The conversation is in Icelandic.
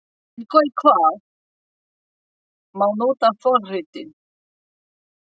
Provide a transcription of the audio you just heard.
En í hvað má nota forritin?